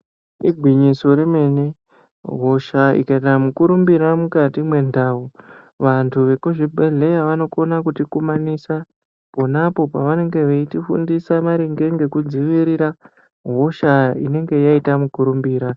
Igwinyiso re mene hosha ikaita mu kurumbira mukati me ndau vantu vekuzvi bhedhleya vano kona kuti kumanisa ponapo pavanenge veiti fundisa maringe ngeku dzirira hosha inenge yaita mu kurumbira.